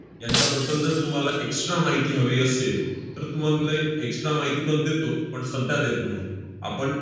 यांच्याबद्दल जर तुम्हाला extra माहिती हवी असेल, तर तुम~ extra माहितीपण देतो, पण सध्या देत नाही. आपण